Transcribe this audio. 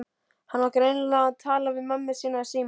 Hann var greinilega að tala við mömmu sína í símann.